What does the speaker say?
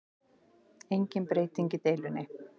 Engin breyting í deilunni